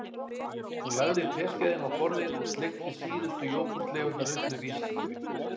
Hún lagði teskeiðina á borðið og sleikti síðustu jógúrtleifarnar upp með vísifingri